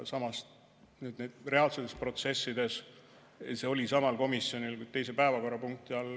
Samas, reaalsetes protsessides see oli samal komisjoni, kuid teise päevakorrapunkti all.